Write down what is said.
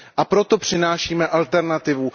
A proto přinášíme alternativu.